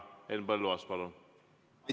Henn Põlluaas, palun!